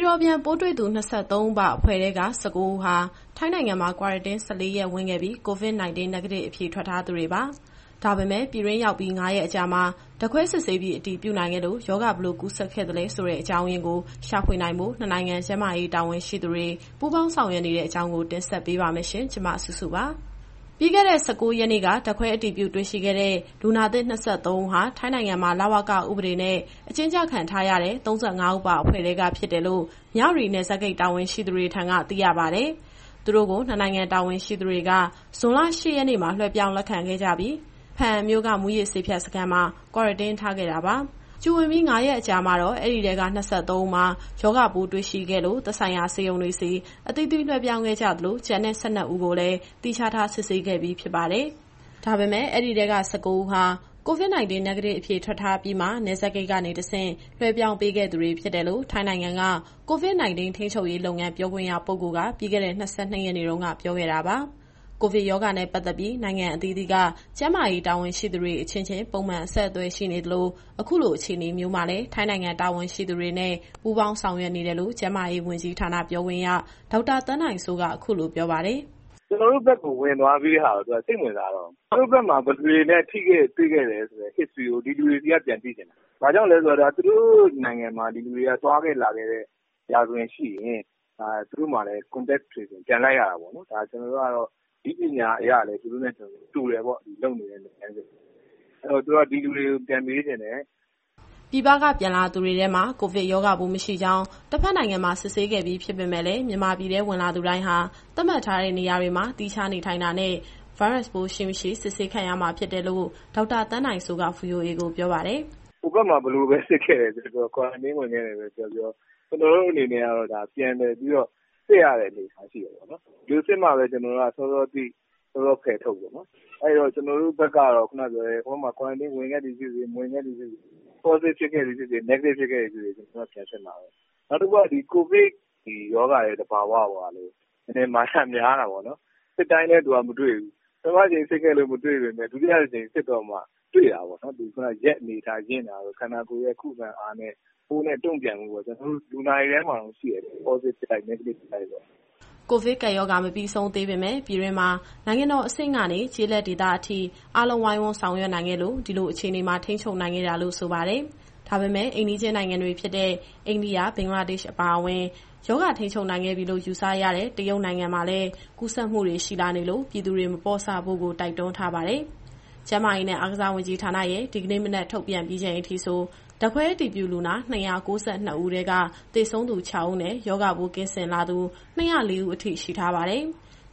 ော်ပြန်ပိုးတွေ့သူ ၂၃ ဦးပါအဖွဲ့ထဲက ၁၉ ဦးဟာ ထိုင်းနိုင်ငံမှာ Quarantine ၁၄ ရက်ဝင်ခဲ့ပြီး COVID - 19 Negative အဖြေထွက်ထားသူတွေပါ။ ဒါပေမဲ့ ပြည်တွင်းရောက်ပြီး ၅ ရက်အကြာမှာ ဓာတ်ခွဲစစ်ဆေးပြီး အတည်ပြုနိုင်ခဲ့လို့ ရောဂါဘယ်လိုကူးစက်ခဲ့သလဲ အကြောင်းရင်းကို ရှာဖွေနိုင်ဖို့ နှစ်နိုင်ငံ ကျန်းမာရေးတာဝန်ရှိသူတွေ ပူးပေါင်းဆောင်ရွက်နေတဲ့ အကြောင်းကို ဗွီအိုအေမြန်မာပိုင်း သတင်းထောက်စုစုက တင်ဆက်ပေးမှာပါ။ ပြီးခဲ့တဲ့ ၁၉ ရက်နေ့က ဓာတ်ခွဲအတည်ပြုတွေ့ရှိခဲ့တဲ့ လူနာသစ် ၂၃ ဦးဟာ ထိုင်းနိုင်ငံမှာ လဝကဥပဒေနဲ့ အကျဉ်းကျခံထားရတဲ့ ၃၅ ဦးပါ အဖွဲ့ထဲကဖြစ်တယ်လို့ မြဝတီနယ်စပ်ဂိတ်တာဝန်ရှိသူတွေထံက သိရပါတယ်။ သူတို့ကို နှစ်နိုင်ငံတာဝန်ရှိသူတွေက ဇွန်လ ၈ ရက်နေ့မှာ လွှဲပြောင်းလက်ခံခဲ့ကြပြီး ဘားအံမြို့က မူးယစ်ဆေးဖြတ်စခန်းမှာ Quarantine ထားခဲ့တာပါ။ Q ဝင်ပြီး ၅ ရက်အကြာမှာ အဲဒီထဲက ၂၃ ဦးမှာ ရောဂါပိုးတွေ့ရှိခဲ့လို့ သက်ဆိုင်ရာဆေးရုံတွေဆီ အသီးသီးလွှဲပြောင်းခဲ့ကြသလို ကျန်တဲ့ ၁၂ ဦးကိုလည်း သီးခြားထား စစ်ဆေးခဲ့ပြီးဖြစ်ပါတယ်။ ဒါပေမဲ့ အဲဒီထဲက ၁၉ ဦးဟာ COVID - 19 Negative အဖြေထွက်ထားပြီးမှ နယ်စပ်ဂိတ်ကနေတဆင့် လွှဲပြောင်းပေးခဲ့သူတွေဖြစ်တယ်လို့ ထိုင်းနိုင်ငံက ပြောခွင့်ရပုဂ္ဂိုလ် Dr Taweesin Visanuyothin က ပြီးခဲ့တဲ့ ၂၂ ရက်နေ့တုန်းက ပြောခဲ့တာပါ။ ကိုဗစ်ကပ်ရောဂါနဲ့ ပတ်သက်ပြီး နိုင်ငံအသီးသီးက ကျန်းမာရေးတာဝန်ရှိသူတွေ အချင်းချင်း ပုံမှန်အဆက်အသွယ်ရှိနေသလို အခုလိုအခြေအနေမျိုးမှာလည်း ထိုင်းနိုင်ငံတာဝန်ရှိသူတွေနဲ့ ပူးပေါင်းဆောင်ရွက်နေတယ်လို့ ကျန်းမာရေးဝန်ကြီးဌာနပြောခွင့်ရ ဒေါက်တာသန်းနိုင်စိုးက အခုလိုပြောပါတယ်။ “ကျနော်တို့ဘက်ကို ဝင်သွားပြီးတဲ့ဟာကို သူတို့က စိတ်မဝင်စားတော့ဘူး။ သူတို့ဘက်မှာ ဘယ်သူတွေနဲ့ ထိတွေ့ခဲ့တယ်ဆိုတဲ့ History ကို ဒီလူတွေဆီကပြန်သိချင်တာ။ ဘာကြောင့်လည်းဆိုတော့ သူတို့နိုင်ငံတွေမှာ ဒီလူတွေသွားခဲ့လာခဲ့တဲ့ ရာဇဝင်ရှိရင် သူတို့မှာလည်း Contact Tracing ပြန်လိုက်ရတာပေါ့နော်။ နည်းပညာအရတော့ လုပ်နေတဲ့လုပ်ငန်းစဉ်တွေက သူတို့နဲ့ ကျနော်တို့နဲ့ တူတယ်ပေါ့။ အဲတော့ သူတို့က ဒီလူတွေကိုပြန်မေးချင်တယ်။” ပြည်ပက ပြန်လာသူတွေထဲမှာ ကိုဗစ်ရောဂါပိုး မရှိကြောင်း တဘက်နိုင်ငံမှာ စစ်ဆေးခဲ့ပြီးဖြစ်ပေမဲ့လည်း မြန်မာပြည်ထဲဝင်သူတိုင်းဟာ သတ်မှတ်ထားတဲ့နေရာတွေမှာ သီးခြားနေထိုင်တာနဲ့ ဗိုင်းရပ်စ်ပိုးရှိ၊ မရှိ စစ်ဆေးခံရမှာဖြစ်တယ်လို့ ဒေါက်တာသန်းနိုင်စိုးက VOA ကိုပြောပါတယ်။ “ဟိုဘက်မှာ ဘယ်လိုပဲစစ်ခဲ့တယ်ပြောပြော Quarantine ဝင်ခဲ့တယ်ပဲပြောပြော ကျနော်တို့အနေနဲ့ကတော့ ပြန်လည်ပြီးတော့ စစ်ရတဲ့အနေအထား ရှိတာပေါ့နော်။ ဒီလိုစစ်မှပဲ စောစောသိ စောစောဖယ်ထုတ်ပေါ့နော်။ အဲတော့ ကျနော်တို့ဘက်ကတော့ ခုနကပြောတဲ့ ဟိုဘက်မှာ Quarantine ဝင်ခဲ့သည်ဖြစ်စေ မဝင်ခဲ့သည်ဖြစ်စေ Positive ဖြစ်ခဲ့သည်ဖြစ်စေ Negative ဖြစ်ခဲ့သည်ဖြစ်စေ ကျနော်တို့က ပြန်စစ်မှာပဲ။ နောက်တခုက ကိုဗစ်ရောဂါရဲ့သဘာဝကိုက နည်းနည်းမာယာများတာပေါ့နော်။ စစ်တိုင်းလည်း သူကမတွေ့ဘူး။ ပထမတကြိမ်စစ်လို့ မတွေ့ပေမဲ့ ဒုတိယတကြိမ်စစ်တော့မှ တွေ့တာပေါ့နော်။ ရက်အနေအထားရင့်တာတို့ ခန္ဓာကိုယ်ရဲ့ခုခံအားနဲ့ ပိုးနဲ့တုံ့ပြန်မှုပေါ့။ လူနာတွေထဲမှာတောင် ရှိတယ်လေ Positvie ဖြစ်လိုက်၊ Negative ဖြစ်လိုက်နဲ့။” ကိုဗစ်ကပ်ရောဂါ မပြီးဆုံးသေးပေမဲ့ ပြည်တွင်းမှာ နိုင်ငံတော်အဆင့်ကနေ ကျေးလက်ဒေသအထိ အားလုံးဝိုင်းဝန်းဆောင်ရွက်နိုင်ခဲ့လို့ ဒီလိုအခြေအနေမှာ ထိန်းချုပ်နိုင်ခဲ့တာလို့ ဆိုပါတယ်။ ဒါပေမဲ့ အိမ်နီးချင်းနိုင်ငံတွေဖြစ်တဲ့ အိန္ဒိယ၊ ဘင်္ဂလားဒေ့ရှ် အပါအဝင် ရောဂါထိန်းချုပ်နိုင်ခဲ့ပြီလို့ ယူဆရတဲ့ တရုတ်နိုင်ငံမှာလည်း ကူးစက်မှုတွေ ရှိလာနေလို့ ပြည်သူတွေမပေါ့ဆဖို့ တိုက်တွန်းထားပါတယ်။ ကျန်းမာရေးနဲ့ အားကစားဝန်ကြီးဌာနရဲ့ ဒီကနေ့မနက် ထုတ်ပြန်ပြီးချိန်အထိဆို ဓာတ်ခွဲအတည်ပြုလူနာ ၂၉၂ ဦးထဲက သေဆုံးသူ ၆ ဦးနဲ့ ရောဂါပိုး ကင်းစင်လာသူ ၂၀၄ ဦး အထိ ရှိထားပါတယ်။